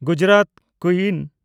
Gujarat ᱠᱩᱭᱤᱱ